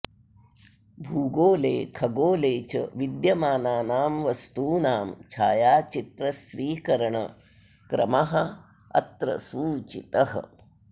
भूगोले खगोले च विद्यमानानां वस्तूनां छायाचित्रस्वीकरणक्रमः अत्र सूचितः